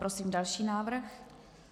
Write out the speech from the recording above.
Prosím další návrh.